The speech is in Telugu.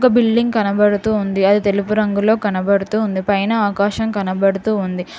ఒక బిల్డింగ్ కనబడుతూ ఉంది అది తెలుపు రంగులో కనబడుతూ ఉంది పైన ఆకాశం కనబడుతూ ఉంది.